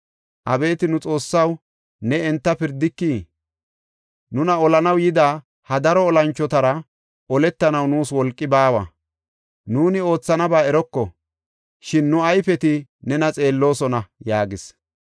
Abeeti nu Xoossaw, ne enta pirdikii? Nuna olanaw yida ha daro olanchotara oletanaw nuus wolqi baawa. Nuuni oothanaba eroko; shin nu ayfeti nena xeelloosona” yaagis.